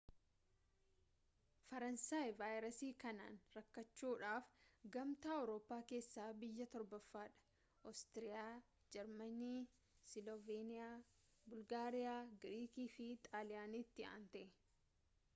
faransaay vaayirasii kanaan rakkachuudhaaf gamtaa awurooppaa keessaa biyya torbaffaadha oostiriyaa jarmanii silooveeniyaa bulgaariiyaa giriikii fi xaaliyaaniitti aantee